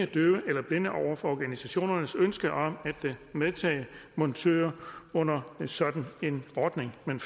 døve eller blinde over for organisationernes ønske om at medtage montører under sådan en ordning men